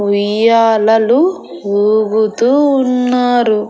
ఉయ్యాలలు ఊగుతూ ఉన్నారు.